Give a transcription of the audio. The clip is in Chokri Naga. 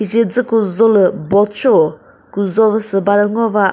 chejü küzholü boat sheo küzhovü sü bade ngo ba.